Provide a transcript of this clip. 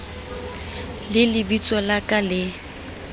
le lebitso la ka le